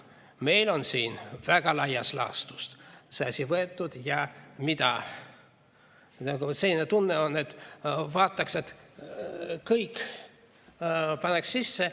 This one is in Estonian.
Meil on siin väga laias laastus see asi võetud ja selline tunne on, et paneks kõik sisse.